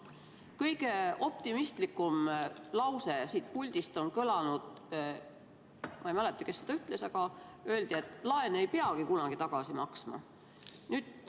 Kõige optimistlikum lause, mis siit puldist on kõlanud, ma ei mäleta, kes seda ütles, aga öeldi, et laene ei peagi kunagi tagasi maksma.